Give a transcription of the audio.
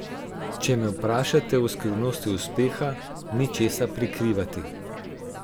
Če me vprašate o skrivnosti uspeha, ni česa prikrivati.